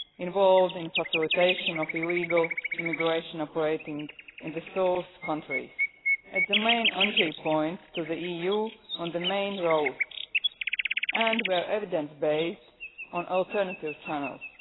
involved in facilitation of illegal immigration operating in the source countries, at the main entry points to the EU, on the main route and, where evidence based, on alternative channels